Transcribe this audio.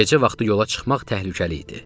Gecə vaxtı yola çıxmaq təhlükəli idi.